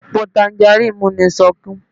Èpo tanjarín mú mi sọkún